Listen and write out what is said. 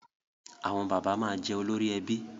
Àwọn bàbá máa jẹ olórí ẹbí